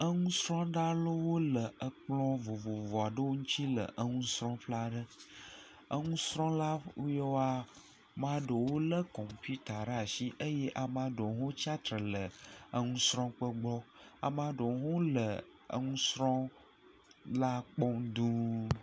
Enusrɔ̃la aɖewo le ekplɔ̃ vovovo aɖewo ŋutsi le enusrɔ̃ƒe aɖe. Eŋusrɔ̃la yawoa, maa ɖewo lé kɔmpiuta ɖe ashi eye amaa ɖewo hã wotsi atre le eŋusrɔ̃ƒe gbɔ. Amaa ɖewo hã wole eŋusrɔ̃la kpɔm dũuu.